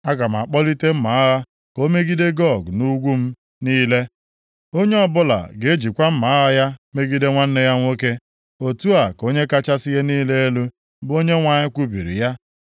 Aga m akpọlite mma agha ka o megide Gog nʼugwu m niile. Onye ọbụla ga-ejikwa mma agha ya megide nwanne ya nwoke. Otu a ka Onye kachasị ihe niile elu, bụ Onyenwe anyị kwubiri ya.